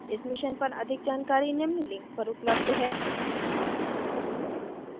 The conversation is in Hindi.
इस mission पर अधिक जानकारी निम्न link पर उपलब्ध है